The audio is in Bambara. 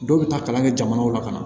Dɔw bɛ taa kalan kɛ jamanaw la ka na